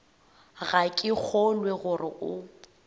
ga ke kgolwe gore o